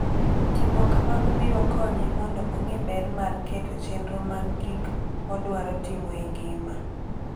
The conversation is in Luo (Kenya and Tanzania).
Timo kamano biro konye mondo ong'e ber mar keto chenro mag gik modwaro timo e ngima.